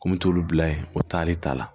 Ko n mi t'olu bila yen o taale ta la